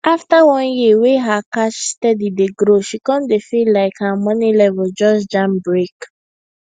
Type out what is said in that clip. after one year wey her cash steady dey grow she come dey feel like her money level just jam brake